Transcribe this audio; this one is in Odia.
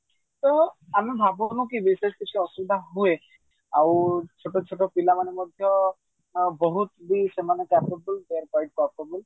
ତ ଆମେ ଭାବୁନେ କି ବିଶେଷ କିଛି ଅସୁବିଧା ହୁଏ ଆଉ ଛୋଟ ଛୋଟ ପିଲାମାନେ ମଧ୍ୟ ବହୁତ ବି ସେମାନେ